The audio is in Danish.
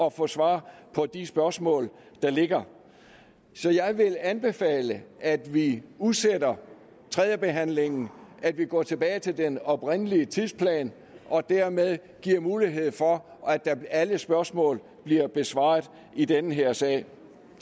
at få svar på de spørgsmål der ligger så jeg vil anbefale at vi udsætter tredjebehandlingen at vi går tilbage til den oprindelige tidsplan og dermed giver mulighed for at alle spørgsmål bliver besvaret i den her sag